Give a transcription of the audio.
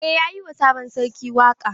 Eh yayi wa sabon sarki waƙa.